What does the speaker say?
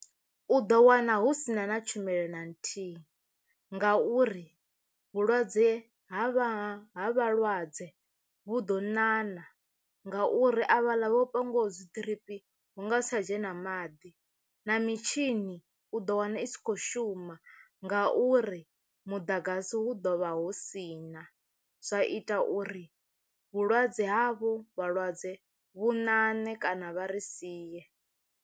U ḓo wana hu sina na tshumelo na nthihi ngauri vhulwadze ha vha ha vhalwadze vhu ḓo ṋaṋa ngauri avhaḽa vho pangiwaho dzi ḓiripi hu nga si tsha dzhena maḓi na mitshini u ḓo wana i si khou shuma ngauri muḓagasi hu ḓo vha hu sina zwa ita uri vhulwadze havho vhalwadze vhu nane kana vha ri sie.